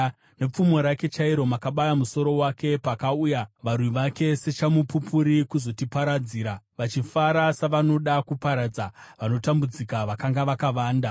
Nepfumo rake chairo makabaya musoro wake, pakauya varwi vake sechamupupuri kuzotiparadzira, vachifara savanoda kuparadza vanotambudzika vakanga vakavanda.